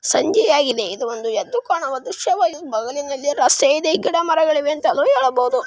ಸಂಜೆಯಾಗಿದೆ ಇದು ಒಂದು ಎದ್ದು ಕಾಣುವ ದೃಶ್ಯವಾಗಿದೆ. ಬಗಲಿನಲ್ಲಿ ರಸ್ತೆಯಿದೆ. ಗಿಡ-ಮರಗಳಿವೆ ಅಂತಾನೂ ಹೇಳಬಹುದು.